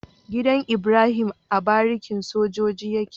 Gidan Ibrahim a barikin sojoji yake